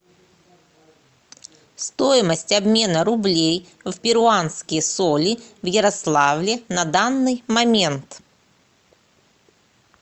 стоимость обмена рублей в перуанские соли в ярославле на данный момент